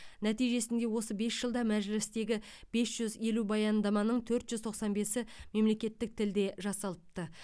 нәтижесінде осы бес жылда мәжілістегі бес жүз елу баяндаманың төрт жүз тоқсан бесі мемлекеттік тілде жасалыпты